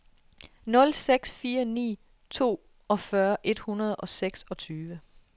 nul seks fire ni toogfyrre et hundrede og seksogtyve